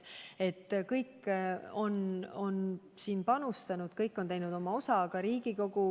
Kõik on panustanud, kõik on andnud oma osa, ka Riigikogu.